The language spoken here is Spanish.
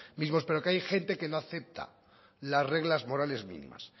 mismos pero que hay gente que no acepta las reglas morales mínimas